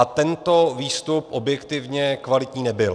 A tento výstup objektivně kvalitní nebyl.